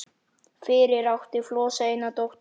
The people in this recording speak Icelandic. Fyrir átti Flosi eina dóttur